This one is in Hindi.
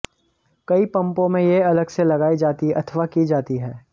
कई पंपों में ये अलग से लगाई जाती अथवा की जाती हैं